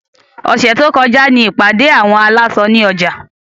Ọ̀sẹ̀ tó kọjá ní ìpàdé àwọn aláṣọ ní ọjà.